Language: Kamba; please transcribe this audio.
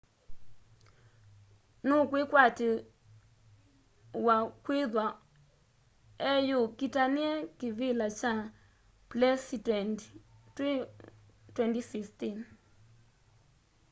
nukwikwatiw'a kwithwa eyukitania kivila kya plesitendi twi 2016